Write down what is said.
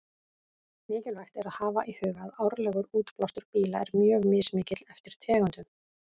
Mikilvægt er að hafa í huga að árlegur útblástur bíla er mjög mismikill eftir tegundum.